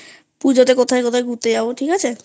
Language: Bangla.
পুজোতে কোথায় কোথায় ঘুরতে যাব ঠিক আছে?